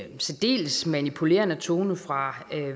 en særdeles manipulerende tone fra